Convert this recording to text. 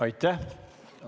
Aitäh!